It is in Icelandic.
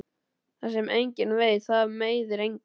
Það sem enginn veit það meiðir engan.